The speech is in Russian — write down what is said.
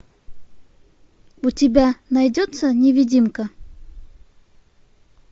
у тебя найдется невидимка